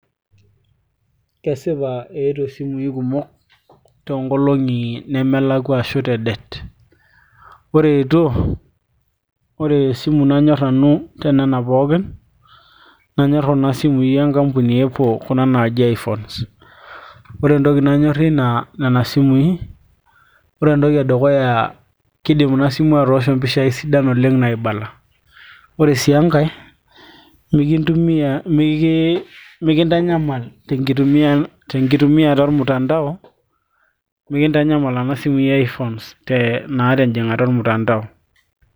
kesipa eetuo isimui kumok toonkolong'i nemelakua ashu te det ore eetuo ore esimu nanyorr nanu te nena pookin nanyorr kuna simui enkampuni e apple kuna naaji iphones ore entoki nanyorrie nena simui ore entoki edukuya kidim ina simu atoosho impishai sidan oleng naibala ore sii enkay mikintanyamal tenkitumiata ormtandao mikintanyamal nena simui e iphones naa tenjing'ata ormtandao.